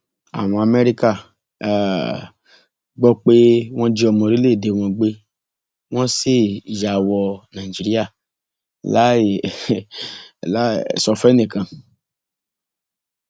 àwọn amẹríkà um gbọ pé wọn jí ọmọ orílẹèdè wọn gbé wọn sì yà wò nàìjíríà láì um sọ fẹnìkan